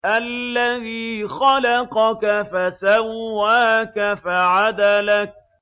الَّذِي خَلَقَكَ فَسَوَّاكَ فَعَدَلَكَ